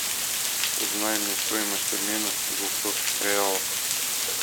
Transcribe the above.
узнай мне стоимость обмена двухсот реалов